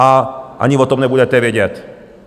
A ani o tom nebudete vědět.